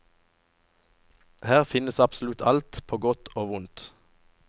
Her finnes absolutt alt, på godt og vondt.